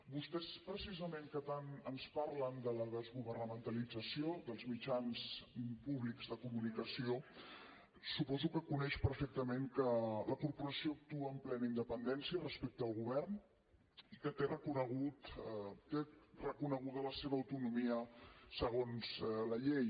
vostès precisament que tant ens parlen de la desgovernamentalització dels mitjans públics de comunicació suposo que coneix perfectament que la corporació actua amb plena independència respecte al govern i que té reconeguda la seva autonomia segons la llei